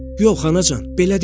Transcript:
Yox, Anacan, belə deyil.